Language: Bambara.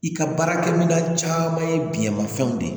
I ka baarakɛminɛn caman ye biyɛnmafɛnw de ye